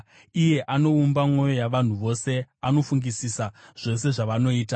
iye anoumba mwoyo yavanhu vose, anofungisisa zvose zvavanoita.